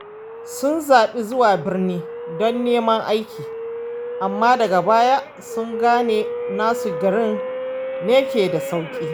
Sun zaɓi zuwa birni don neman aiki, amma daga baya sun gane nasu garin ne ke da sauƙi.